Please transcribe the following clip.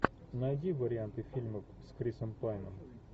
найди варианты фильмов с крисом пайном